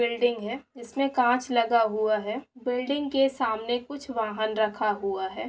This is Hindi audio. बिल्डिंग है जिसमे कांच लगा हुआ है बिल्डिंग के सामने कुछ वाहन रखा हुआ है।